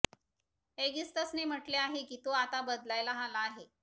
एगिस्तसने म्हटले आहे की तो आता बदलायला आला आहे